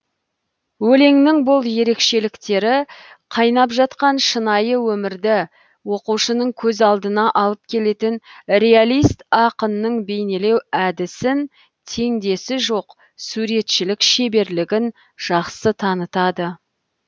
өлеңнің бұл ерекшеліктері қайнап жатқан шынайы өмірді оқушының көз алдына алып келетін реалист ақынның бейнелеу әдісін теңдесі жоқ суретшілік шеберлігін жақсы танытады